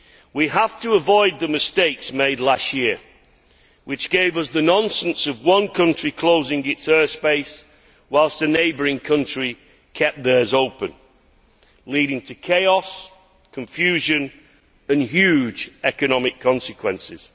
We have to avoid the mistakes made last year which gave us the nonsense of one country closing its airspace whilst a neighbouring country kept theirs open, leading to chaos, confusion and huge economic consequences.